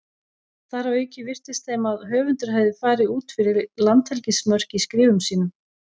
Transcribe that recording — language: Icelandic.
Þar að auki virtist þeim að höfundur hefði farið út fyrir landhelgismörk í skrifum sínum.